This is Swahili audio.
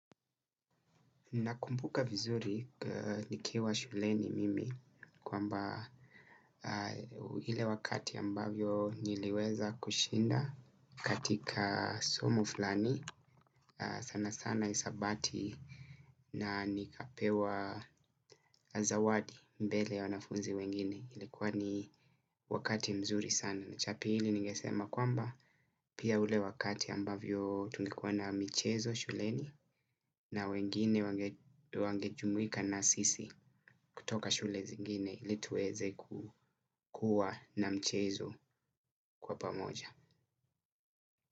Nakumbuka vizuri nikiwa shuleni mimi kwamba ile wakati ambavyo niliweza kushinda katika somo fulani sana sana hisabati na nikapewa zawadi mbele ya wanafunzi wengine ilikuwa ni wakati mzuri sana. Na chapili ningesema kwamba pia ule wakati ambavyo tulikuwa na mchezo shuleni na wengine wangejumuika na sisi kutoka shule zingine ilituweze kukua na mchezo kwa pamoja.